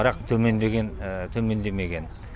бірақ төмендемеген